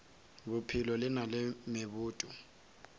bophelo le na le meboto